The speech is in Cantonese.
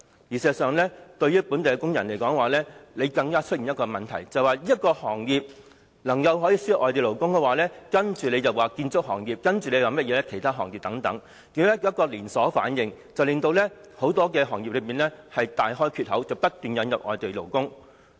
事實上，本地工人更要面對多一重憂慮，便是如果這個行業可以輸入外地勞工的話，接着在建築業或其他行業便會出現連鎖反應，導致很多行業大開缺口，不斷引入外地勞工。